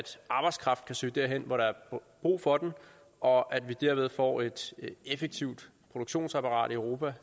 arbejdskraften kan søge derhen hvor der er brug for den og at vi derved får et effektivt produktionsapparat i europa og